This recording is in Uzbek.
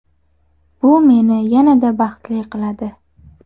Bu meni yanada baxtli qiladi.